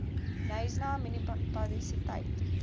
knysna munisipaliteit